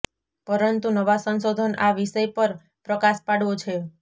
પરંતુ નવા સંશોધન આ વિષય પર પ્રકાશ પાડવો છે